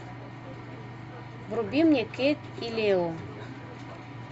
вруби мне кейт и лео